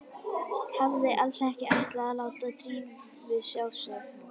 Hafði alls ekki ætlað að láta Drífu sjá sig.